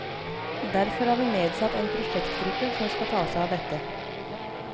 Derfor har vi nedsatt en prosjektgruppe som skal ta seg av dette.